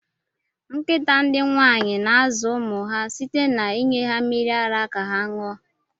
Nkịta ndị nwaanyị na-azụ ụmụ ha site na inye ha mmiri ara ka ha ṅụọ.